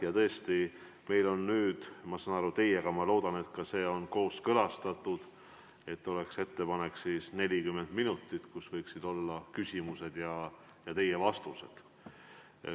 Ja tõesti, meil on nüüd – ma saan aru, et see on teiega kooskõlastatud – ettepanek, et 40 minuti sees võiksid olla ka küsimused ja teie vastused.